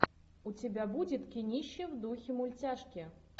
у тебя будет кинище в духе мультяшки